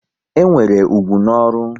E nwere ugwu na ọrụ